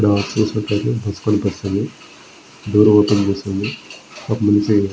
ఇక్కడ చూసినట్లయితే బస్సు కనిపిస్తుంది. దూరంగా కనిపిస్తుంది. ఒక మనిషి--